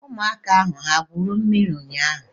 Ụmụaka ahụ ha gwụrụ mmiri ụnyaahụ?